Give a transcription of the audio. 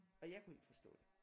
Og jeg kunne ikke forstå det